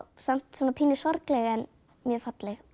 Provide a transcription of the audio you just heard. samt svona pínu sorgleg en mjög falleg